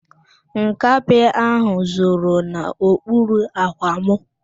Nkapị ahụ zoro n'okpuru ạ̀kwạ̀ mụ.